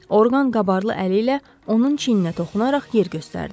Orqan qabarlı əli ilə onun çiyninə toxunaraq yer göstərdi.